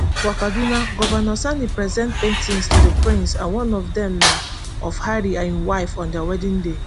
for kaduna govnor sani present paintings to di prince and one of dem na of harry and im wife on dia wedding day